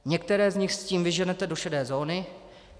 Některé z nich s tím vyženete do šedé zóny.